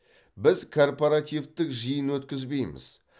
біз корпоративтік жиын өткізбейміз